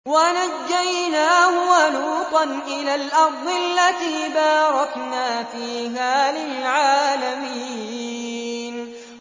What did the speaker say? وَنَجَّيْنَاهُ وَلُوطًا إِلَى الْأَرْضِ الَّتِي بَارَكْنَا فِيهَا لِلْعَالَمِينَ